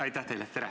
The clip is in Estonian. Aitäh teile!